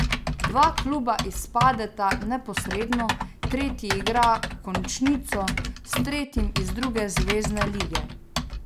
Dva kluba izpadeta neposredno, tretji igra končnico s tretjim iz druge zvezne lige.